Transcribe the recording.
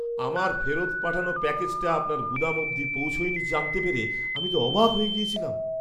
আমার ফেরত পাঠানো প্যাকেজটা আপনার গুদাম অবধি পৌঁছয়নি জানতে পেরে আমি তো অবাক হয়ে গেছিলাম!